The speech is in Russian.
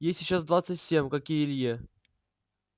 ей сейчас двадцать семь как и илье